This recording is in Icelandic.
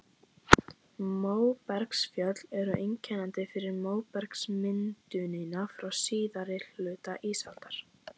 Móbergsfjöll eru einkennandi fyrir móbergsmyndunina frá síðari hluta ísaldar.